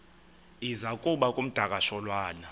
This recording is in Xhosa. iza kuba ngumdakasholwana